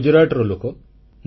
ମୁଁ ଗୁଜରାଟର ଲୋକ